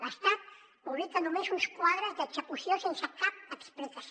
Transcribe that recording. l’estat publica només uns quadres d’execució sense cap explicació